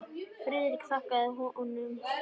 Friðrik þakkaði honum fyrir.